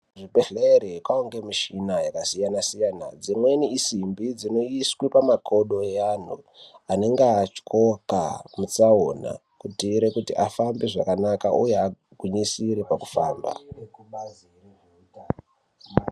Kuzvibhedhleri kwava ngemichina yakasiyana-siyana. Dzimweni isimbi dzinoisiwe pamakodo eanhu anenge atyoka mutsaona kutiire kuti afambe zvakanaka uye agwinyisire pakufamba.